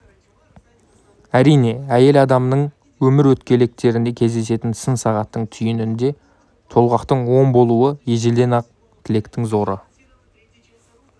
әрине әйел адамның өмір өткелектерінде кездесетін сын сағаттың түйінінде толғақтың оң болуы ежелден ақ тілектің зоры